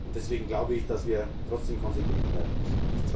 Deswegen glaube ich, dass wir trotzdem konsequent bleiben müssen.